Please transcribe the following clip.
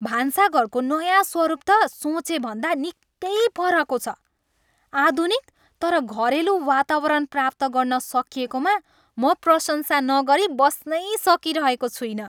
भान्साघरको नयाँ स्वरूप त सोचेभन्दा निकै परको छ, आधुनिक तर घरेलु वातावरण प्राप्त गर्न सकिएकोमा म प्रशंसा नगरी बस्नै सकिरहेको छुइनँ।